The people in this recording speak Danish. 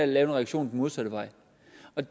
lave en reaktion den modsatte vej